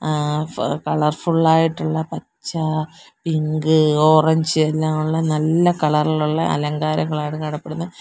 ആ ഫ കളർഫുള്ളായിട്ടുള്ള പച്ച പിങ്ക് ഓറഞ്ച് എല്ലാം ഉള്ള നല്ല കളറിലുള്ള അലങ്കാരങ്ങളാണ് കാണപ്പെടുന്നെ.